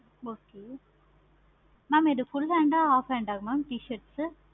okay mam இது full hand ஆஹ் mam half hand ஆஹ் mam t-shirt